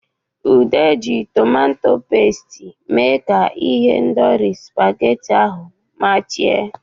Udo ji tomato pesiti mee ka ihendori spaghetti ahu machie.